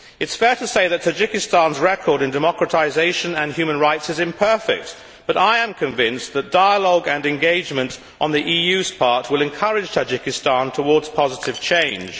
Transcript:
It is fair to say that Tajikistan's record in democratisation and human rights is imperfect, but I am convinced that dialogue and engagement on the EU's part will encourage Tajikistan towards positive change.